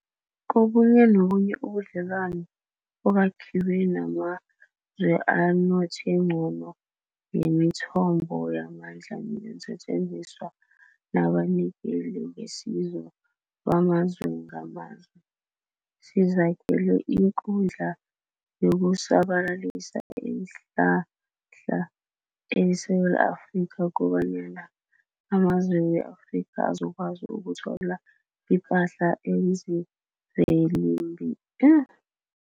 Kobunye nobunye ubudle lwano obakhiwe namazwe anothe ngcono ngemithombo yamandla neensetjenziswa nabanikeli ngesizo bamazwe ngamazwe, sizakhele iKundla yokuSabalalisa iinHlahla e-Afrika kobanyana amazwe we-Afrika azokwazi ukutho la ipahla eziimvikelim